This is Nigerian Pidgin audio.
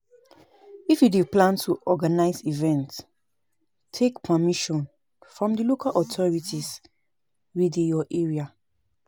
If you dey plan to organise event, take permission from di local authorities wey dey your area